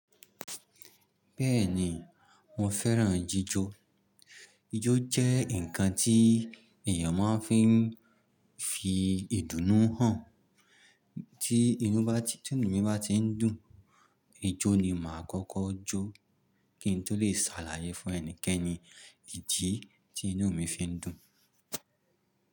Bẹ́ẹ̀ni mo fẹ́ràn jijó. Ijó jẹ́ ǹkan tí èèyàn máa ń fí ń fi ìdùnnú hàn. Tí inú mi bá tí ń dùn, ijó ni màá kọ́kọ́ jó kí n tó lè ṣàlàyé fún ẹnikẹ́ni ìdí tí inú mi fi ń dùn.